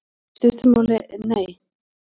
Í stuttu máli: Nei.